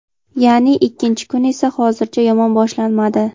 ya’ni ikkinchi kun esa hozircha yomon boshlanmadi.